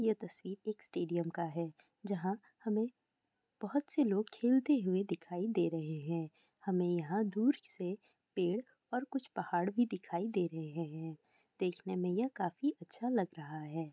ये तस्वीर एक स्टेडियम का है यहां पे हमें बहुत से लोग खेलते हुए दिखाई दे रहे हैं हमें यहां दूर से पेड़ और कुछ पहाड़ भी दिखाई दे रहे हैं ये देखने में यह काफी अच्छा लग रहा है।